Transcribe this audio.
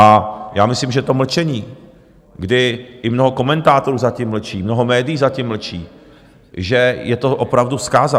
A já myslím, že to mlčení, kdy i mnoho komentátorů zatím mlčí, mnoho médií zatím mlčí, že je to opravdu zkáza.